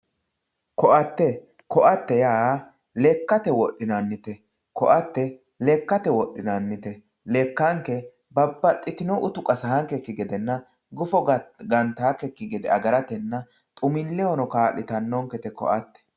koatte koatte yaa lekkate wodhinannite koatte yaa lekkate wodhinannite lekkanke babbaxitinno utu qasaankekki gedenna gufo gantaankekki gede agaratenna xumillehono kaa'litannonkete koatte